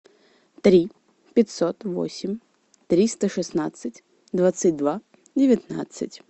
три пятьсот восемь триста шестнадцать двадцать два девятнадцать